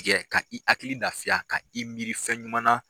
Tigɛ ka i hakili lafiya ka i miri fɛn ɲuman na.